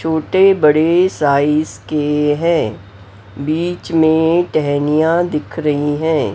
छोटे बड़े साइज के हैं बीच में टहनियां दिख रही हैं।